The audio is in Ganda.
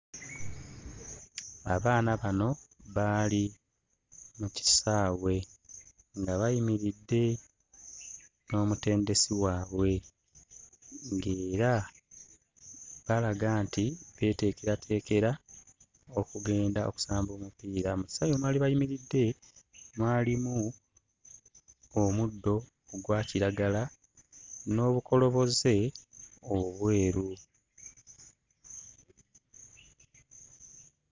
Abaana bano baali mu kisaawe nga bayimiridde n'omutendesi waabwe ng'era balaga nti beeteekerateekera okugenda okusamba omupiira. Mu kisaawe mwe baali bayimiridde mwalimu omuddo ogwa kiragala n'olukoloboze olweru.